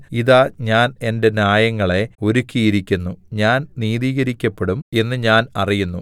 ഇതാ ഞാൻ എന്റെ ന്യായങ്ങളെ ഒരുക്കിയിരിക്കുന്നു ഞാൻ നീതീകരിക്കപ്പെടും എന്ന് ഞാൻ അറിയുന്നു